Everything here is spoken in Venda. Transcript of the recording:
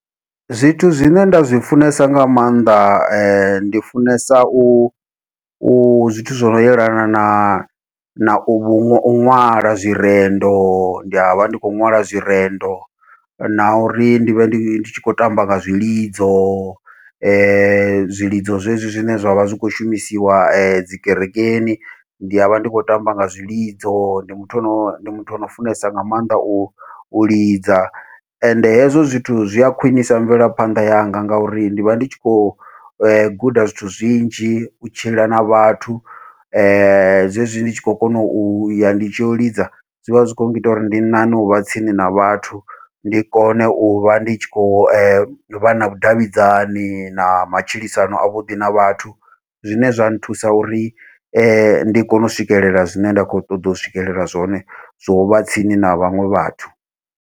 Zwithu zwine nda zwi funesa nga maanḓa ndi funesa u u zwithu zwo no yelana na nau ṅwala zwirendo, ndi avha ndi khou ṅwala zwirendo na uri ndi vhe ndi tshi khou tamba nga zwilidzo zwilidzo zwezwi zwine zwavha zwi kho shumisiwa dzi kerekeni, ndi avha ndi khou tamba nga zwilidzo ndi muthu ano ndi muthu ono funesa nga maanḓa u u lidza. Ende hezwo zwithu zwi a khwiṋisa mvelaphanḓa yanga ngauri ndi avha ndi tshi khou guda zwithu zwinzhi u tshila na vhathu, zwezwi ndi tshi khou kona uya ndi tshi yo u lidza zwivha zwi kho ngita uri ndi ṋaṋe uvha tsini na vhathu, ndi kone uvha ndi tshi khou vha na vhudavhidzani na matshilisano avhuḓi na vhathu, zwine zwa nthusa uri ndi kone u swikelela zwine nda kho ṱoḓa u swikelela zwone zwovha tsini na vhaṅwe vhathu.